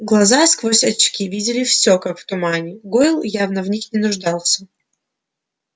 глаза сквозь очки видели все как в тумане гойл явно в них не нуждался